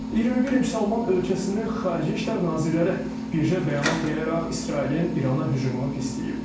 21 müsəlman ölkəsinin Xarici İşlər nazirləri birgə bəyanat yayaraq İsrailin İrana hücumunu pisləyib.